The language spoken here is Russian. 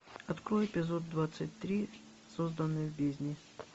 открой эпизод двадцать три созданный в бездне